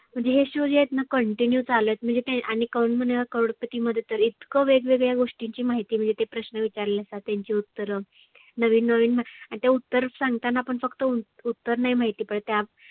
म्हणजे हे show जे आहेतना continue चालत आणि कोण बनेगा करोड पती मध्ये तर इतक वेग वेगळ्या गोष्टीची माहिती मिळते प्रश्न विचारलेसा त्यांची उत्तरं. नविन नविन आणि ते उत्तर सांगताना पण फक्त उ उत्तर नाही माहिती पाहीजे ते